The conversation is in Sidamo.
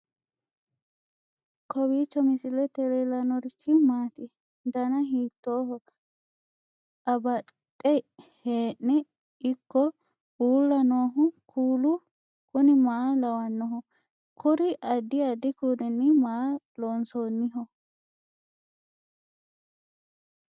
kowiicho misilete leellanorichi maati ? dana hiittooho ?abadhhenni ikko uulla noohu kuulu kuni maa lawannoho? kuri addi addi kuulinni maa loonsoonniho